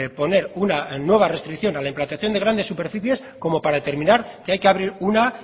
poner una nueva restricción a la implantación de grandes superficies como para terminar que hay que abrir una